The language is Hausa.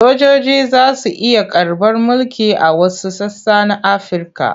Sojoji za su iya karɓar mulki a wasu sassa na Afirka.